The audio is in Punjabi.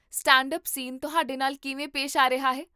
ਸਟੈਂਡ ਅੱਪ ਸੀਨ ਤੁਹਾਡੇ ਨਾਲ ਕਿਵੇਂ ਪੇਸ਼ ਆ ਰਿਹਾ ਹੈ?